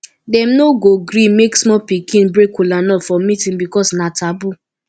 dem no go go gree make small pikin break kolanut for meetin because na taboo